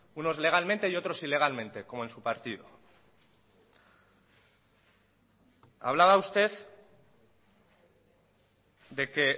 unos legalmente y otros ilegalmente como en su partido hablaba usted de que